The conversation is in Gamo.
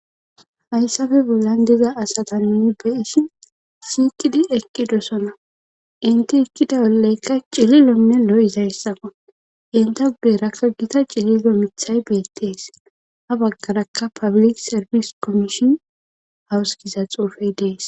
Hayssafe bollan diza asata nuni beisi siiqidi ekki dosona inti ekkida oleykka cililonne lo7izayssaqo yenta gugerako gita cililo mithay beettees ha baggarakka pablik serbis kommishin hawusgiza xuufey dees.